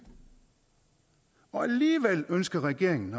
og alligevel ønsker regeringen